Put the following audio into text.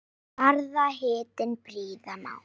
Barða hattinn prýða má.